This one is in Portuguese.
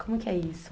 Como que é isso?